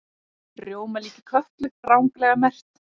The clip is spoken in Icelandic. Rjómalíki Kötlu ranglega merkt